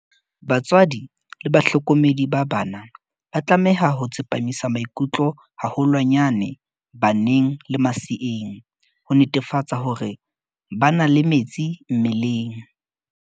Batswadi le bahlokomedi ba bana ba tlameha ho tsepamisa maikutlo haholwanyane baneng le maseeng, ho netefatsa hore ba na le metsi mmeleng.